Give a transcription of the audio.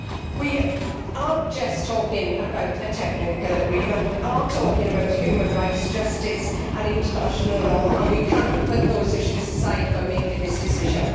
We are not just talking about a technical agreement we are talking about human rights, justice and international law, and we cannot put those issues aside when making this decision.